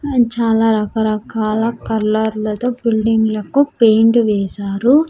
ఆ చాలా రకరకాల కలర్ లతో బిల్డింగ్ లకు పెయింట్ వేశారు.